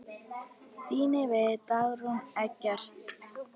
Þínir vinir, Dagrún og Eggert.